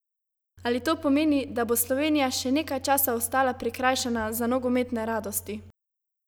Ali to pomeni, da bo Slovenija še nekaj časa ostala prikrajšana za nogometne radosti?